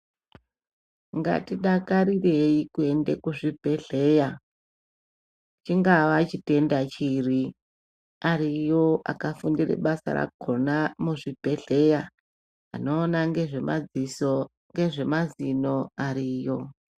Ngatidakarirei kuenda kuzvibhedhlera chingava chitenda chiri, ariyo akafundira basa rakhona muzvibhedhlera. Anoona ngezvemadziso, ngezvemazino ariyo.